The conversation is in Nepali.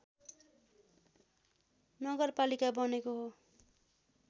नगरपालिका बनेको हो